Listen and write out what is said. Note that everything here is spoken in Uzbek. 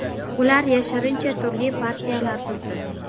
Ular yashirincha turli partiyalar tuzdi.